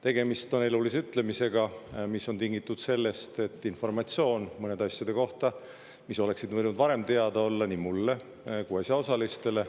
Tegemist on elulise ütlemisega, mis oli tingitud informatsioonist, mis oleks võinud varem teada olla nii mulle kui ka asjaosalistele.